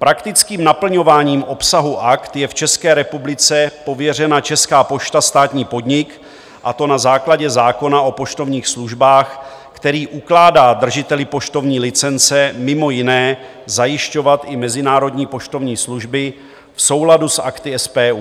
Praktickým naplňováním obsahu Akt je v České republice pověřena Česká pošta, státní podnik, a to na základě zákona o poštovních službách, který ukládá držiteli poštovní licence mimo jiné zajišťovat i mezinárodní poštovní služby v souladu s Akty SPU.